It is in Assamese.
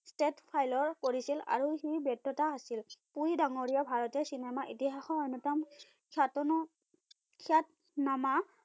ষ্টেট ফাইলৰ কৰিছিল আৰু সি ব্যততা আছিল। পুৰী ডাঙৰীয়া ভাৰতীয় চিনেমা ইতিহাসৰ অন্যতম খ্যাতন খ্যাত-নামা